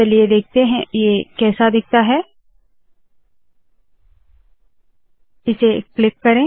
चलिए देखते है ये कैसा दिखता है इसे क्लिक करे